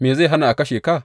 Me zai hana a kashe ka?